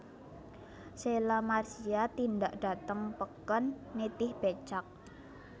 Sheila Marcia tindak dhateng peken nitih becak